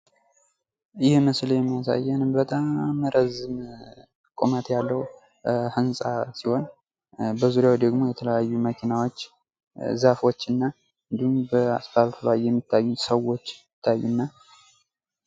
ይህ ምስል የሚያሳየን በጣም ረጅም ቁመት ያለው ህንፃ ሲሆን በዙሪያው ደግሞ የተለያዩ መኪናዎች፣ ዛፎችናበአስፋልት ላይ የሚታዩ ሰዎች ይታዩናል።